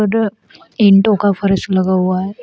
ईटों का फर्श लगा हुआ है।